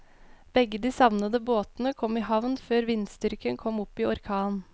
Begge de savnede båtene kom i havn før vindstyrken kom opp i orkan.